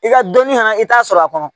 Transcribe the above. I ka dɔnni fana i t'a sɔrɔ a kɔnɔ